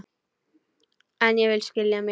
En ég vil skilja mig.